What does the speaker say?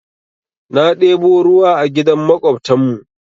Na ɗebo ruwa a gidan maƙwabtan mu.